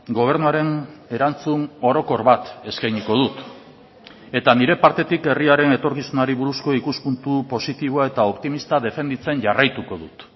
gobernuaren erantzun orokor bat eskainiko dut eta nire partetik herriaren etorkizunari buruzko ikuspuntu positiboa eta optimista defenditzen jarraituko dut